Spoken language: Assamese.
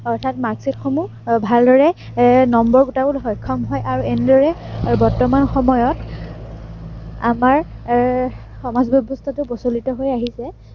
অৰ্থাৎ marksheet সমূহ আহ ভালদৰে number গোটাব সক্ষম হয় আৰু এনেদৰেই বৰ্তমান সময়ত, আমাৰ এৰ সমাজ ব্য়ৱস্থাটো প্ৰচলিত হৈ আহিছে।